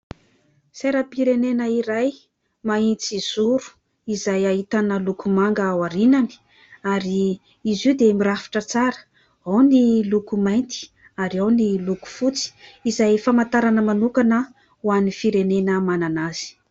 Sainam-pirenena iray mahitsizoro izay ahitana loko manga ao aorianany ary izy io dia mirafitra tsara : ao ny loko mainty ary ao ny loko fotsy izay famantarana manokana ho an'ny firenena manana azy.